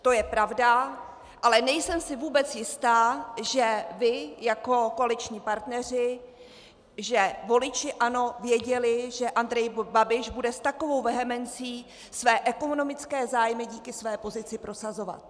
To je pravda, ale nejsem si vůbec jista, že vy jako koaliční partneři, že voliči ANO věděli, že Andrej Babiš bude s takovou vehemencí své ekonomické zájmy díky své pozici prosazovat.